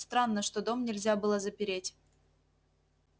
странно что дом нельзя было запереть